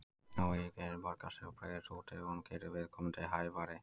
Óeigingirni borgar sig og breiðist út ef hún gerir viðkomandi hæfari.